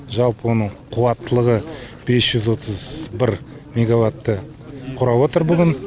жалпы оның қуаттылығы бес жүз отыз бір мегаватты құрап отыр бүгін